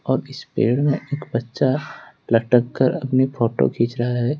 और इस पेड़ में एक बच्चा लटक कर अपनी फोटो खींच रहा है।